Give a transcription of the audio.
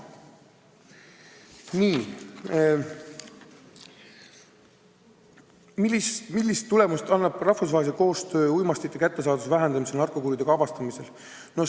Kolmas küsimus: "Millist tulemust annab rahvusvaheline koostöö uimastite kättesaadavuse vähendamisel ja narkokuritegude avastamisel?